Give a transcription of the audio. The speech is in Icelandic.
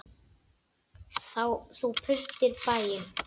Þú prýddir bæinn.